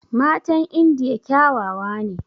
Matan indiya kyawawa ne